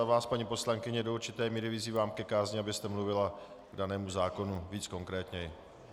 A vás, paní poslankyně, do určité míry vyzývám ke kázni, abyste mluvila k danému zákonu více konkrétně.